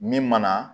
Min mana